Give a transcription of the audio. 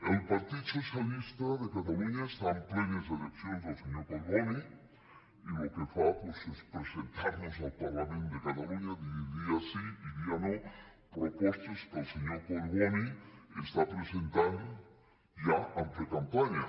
el partit socialista de catalunya està en plenes eleccions el senyor collboni i el que fa doncs és presentar nos al parlament de catalunya dia sí i dia no propostes que el senyor collboni està presentant ja en precampanya